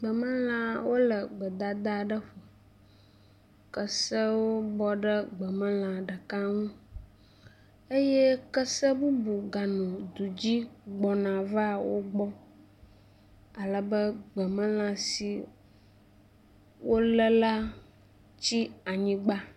Gbemelã wo le gbedada aɖe ƒo. kesewo bɔ ɖe gbemelã ɖeka nu eye kese bubu ganɔ du dzi gbɔna va wo gbɔ ale be gbemlã si wo le la tsi anyigba.